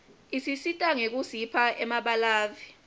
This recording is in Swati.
isisita ngekusipha emabalave